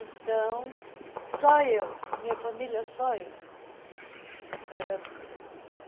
Então, só eu, da minha família, só eu era